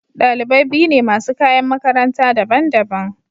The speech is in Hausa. Dalibai biyu ne masu kayan makaranta daban-daban.